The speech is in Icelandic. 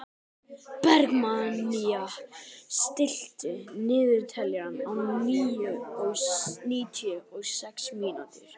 Bergmannía, stilltu niðurteljara á níutíu og sex mínútur.